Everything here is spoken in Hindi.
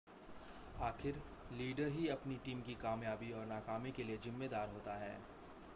आख़िर लीडर ही अपनी टीम की कामयाबी और नाकामी के लिए ज़िम्मेदार होता है